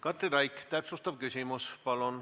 Katri Raik, täpsustav küsimus palun!